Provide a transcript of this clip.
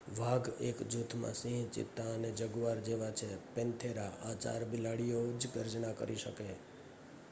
વાઘ એક જ જૂથમાં સિંહ ચિત્તા અને જગુઆર જેવા છે પેન્થેરા.આ ચાર બિલાડીઓ જ ગર્જના કરી શકે